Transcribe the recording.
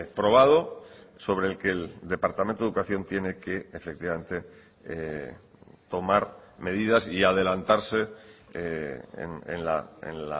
probado sobre el que el departamento de educación tiene que efectivamente tomar medidas y adelantarse en